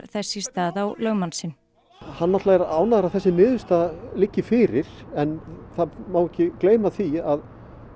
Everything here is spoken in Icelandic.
þess í stað á lögmann sinn hann náttúrulega er ánægður að þessi niðurstaða liggi fyrir en það má ekki gleyma því að